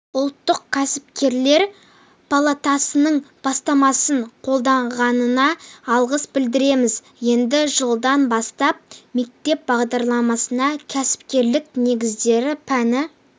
ұлттық кәсіпкерлер палатасының бастамасын қолдағанына алғыс білдіреміз енді жылдан бастап мектеп бағдарламасына кәсіпкерлік негіздері пәні